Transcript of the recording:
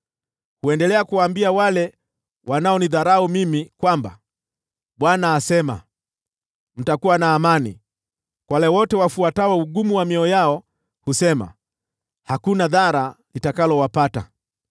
Huendelea kuwaambia wale wanaonidharau mimi, ‘ Bwana asema: Mtakuwa na amani.’ Kwa wale wote wafuatao ugumu wa mioyo yao, wao husema, ‘Hakuna dhara litakalowapata.’